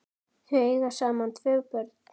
Þau eiga saman tvö börn.